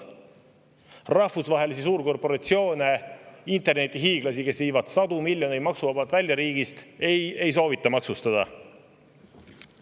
Rahvusvahelisi suurkorporatsioone, internetihiiglasi, kes viivad sadu miljoneid maksuvabalt riigist välja, ei soovita maksustada.